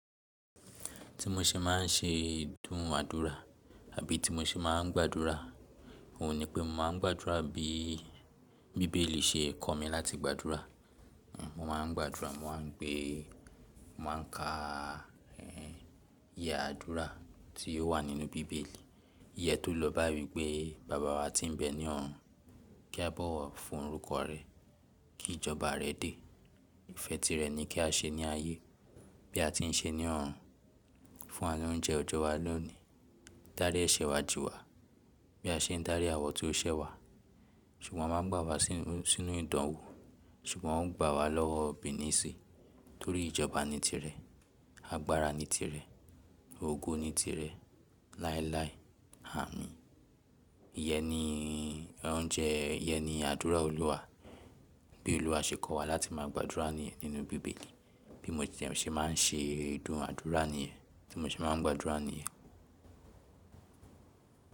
Ti mo ṣe ma n ṣe dun àdúrà àbí ti mo ṣe má n gbàdúrà, òun ni pé mo má n gbàdúrà bí Bíbélì ṣe kọ́ mi láti gbàdúrà. Mo má n gbàdúrà, mo má n gbé, mo má n ka iye àdúrà tí ó wà nínú Bíbélì. Ìyẹn tó lọ báyìí wípé Baba wa tí ń bẹ ni ọ̀run, kí a bọ́wọ̀ fún orúkọ rẹ, kí ìjọba rẹ dé, ìfẹ́ ti rẹ ni kí a ṣe ní ayé, bí a ti ń ṣe ní ọ̀run. Fún wa lóúnjẹ ọjọ́ wa lónìí, dárí ẹ̀ṣẹ̀ wa jì wá, bí a ṣe ń dáríji àwọn tó ń ṣẹ̀ wa. Ṣùgbọ́n má gbà wa sínú ìdánwò, ṣùgbọ́n ó gbà wa lọ́wọ́ Òbí nísìí, torí ìjọba ni ti rẹ, agbára ni ti rẹ, ògo ni ti rẹ, láéláé, amín. Ìyẹn ni o n jẹ, iyẹn ni àdúrà Olúwa, bí Olúwa ṣe kọ́ wa láti máa gbàdúrà ni nínú Bíbélì. Bí mo tiẹ̀ ṣe má n ṣe ìdun àdúrà nìyẹn, tí mo ṣe má n gbàdúrà nìyẹn.